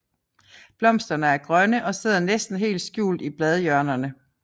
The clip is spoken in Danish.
Blomsterne er grønne og sidder næsten helt skjult i bladhjørnerne